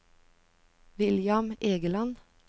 William Egeland